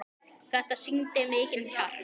Þetta sýndi mikinn kjark.